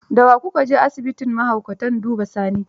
Da wa ku ka je asibitin mahaukatan duba Sani?